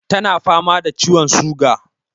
Tana fama da ciwon suga.